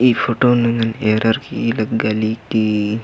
ई फोटोन ऐंग़न एरर की लग्गा ली की --